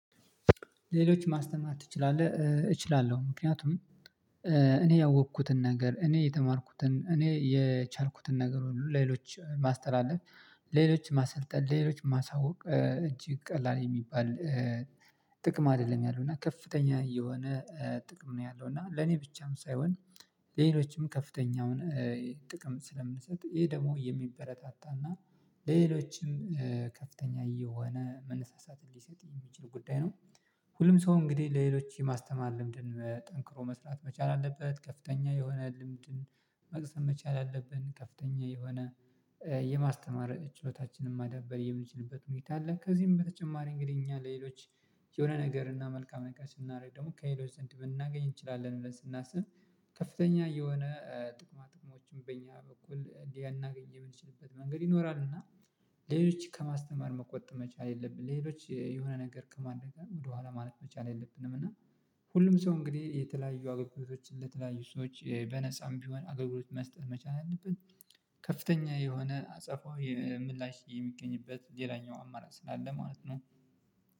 ሌሎች ማስተማር ትችላለህ? እችላለሁ። ምክንያቱም እኔ ያወቅኩትን ነገር እኔ የተማርኩትን እኔ የቻልኩትን ነገር ሌሎች ማስተላለፍ ሌሎች ማሰልጠን ሌሎች ማሳወቅ እጅግ ቀላል የሚባል ጥቅም አይደለም ያለው። እና ከፍተኛ የሆነ ጥቅም ነው ያለው። እና ለኔ ብቻም ሳይሆን ሌሎችም ከፍተኛውን ጥቅም ስለምሰጥ፤ ይሄ ደግሞ የሚበረታታና ሌሎችም ከፍተኛ የሆነ መነሳሳትን እንዲሰጥ የሚችል ጉዳይ ነው። ሁሉም ሰው እንግዲህ ለሌሎች የማስተማር ልምድን መጠንክሮ መስራት መቻል አለበት። ከፍተኛ የሆነ ልምድን መቅሰም መቻል አለብን። ከፍተኛ የሆነ የማስተማረጥ ችሎታችንን ማዳበር የምንችልበት ሁኔታ አለ። ከዚህም በተጨማሪ እንግዲህ እኛ ለሌሎች የሆነ ነገር እና መልካም ነገር ስናደርግ ደግሞ ከሌሎች ዘንድ ብናገኝ እንችላለን ብለን ስናስብ ከፍተኛ የሆነ ጥቅማ ጥቅሞችን በእኛ በኩል እንዲህ ልናገኝ የምንችልበት መንገድ ይኖራል። እና ሌሎች ከማስተማር መቆጠብ መቻል የለብንም። ሌሎች የሆነ ነገር ከማድረግ ወደኋላ ማለት መቻል የለብንም። እና ሁሉም ሰው እንግዲህ የተለያዩ አገልግሎቶችን ለተለያዩ ሰዎች በነፃም ቢሆን አገልግሎት መስጠት መቻል አለበት። ከፍተኛ የሆነ አጸፋዊ ምላሽ የሚገኝበት ሌላኛው አማራጭ ስላለ ማለት ነው።